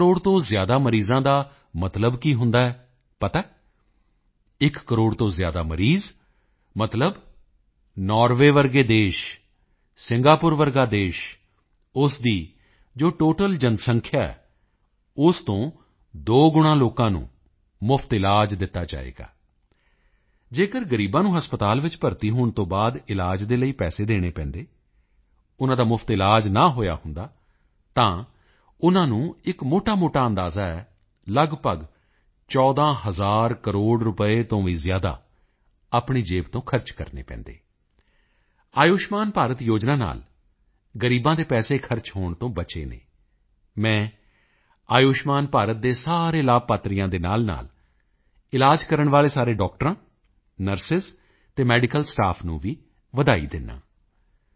ਇੱਕ ਕਰੋੜ ਤੋਂ ਜ਼ਿਆਦਾ ਮਰੀਜ਼ਾਂ ਦਾ ਮਤਲਬ ਕੀ ਹੁੰਦਾ ਹੈ ਪਤਾ ਹੈ ਇੱਕ ਕਰੋੜ ਤੋਂ ਜ਼ਿਆਦਾ ਮਰੀਜ਼ ਮਤਲਬ ਨਾਰਵੇ ਜਿਹਾ ਦੇਸ਼ ਸਿੰਗਾਪੁਰ ਜਿਹਾ ਦੇਸ਼ ਉਸ ਦੀ ਜੋ ਟੋਟਲ ਜਨਸੰਖਿਆ ਹੈ ਉਸ ਤੋਂ ਦੋ ਗੁਣਾ ਲੋਕਾਂ ਨੂੰ ਮੁਫ਼ਤ ਵਿੱਚ ਇਲਾਜ ਦਿੱਤਾ ਗਿਆ ਹੈ ਅਗਰ ਗ਼ਰੀਬਾਂ ਨੂੰ ਹਸਪਤਾਲ ਵਿੱਚ ਭਰਤੀ ਹੋਣ ਤੋਂ ਬਾਅਦ ਇਲਾਜ ਦੇ ਲਈ ਪੈਸੇ ਦੇਣੇ ਪੈਂਦੇ ਉਨ੍ਹਾਂ ਦਾ ਮੁਫ਼ਤ ਇਲਾਜ ਨਾ ਹੋਇਆ ਹੁੰਦਾ ਤਾਂ ਉਨ੍ਹਾਂ ਨੂੰ ਇੱਕ ਮੋਟਾਮੋਟਾ ਅੰਦਾਜ਼ਾ ਹੈ ਲਗਭਗ 14 ਹਜ਼ਾਰ ਕਰੋੜ ਰੁਪਏ ਤੋਂ ਵੀ ਜ਼ਿਆਦਾ ਆਪਣੀ ਜੇਬ ਤੋਂ ਖਰਚ ਕਰਨੇ ਪੈਂਦੇ ਆਯੁਸ਼ਮਾਨ ਭਾਰਤ ਯੋਜਨਾ ਨਾਲ ਗ਼ਰੀਬਾਂ ਦੇ ਪੈਸੇ ਖਰਚ ਹੋਣ ਤੋਂ ਬਚੇ ਹਨ ਮੈਂ ਆਯੁਸ਼ਮਾਨ ਭਾਰਤ ਦੇ ਸਾਰੇ ਲਾਭਪਾਤਰੀਆਂ ਦੇ ਨਾਲਨਾਲ ਇਲਾਜ ਕਰਨ ਵਾਲੇ ਸਾਰੇ ਡਾਕਟਰਾਂ ਨਰਸ ਅਤੇ ਮੈਡੀਕਲ ਸਟਾਫ ਨੂੰ ਵੀ ਵਧਾਈ ਦਿੰਦਾ ਹਾਂ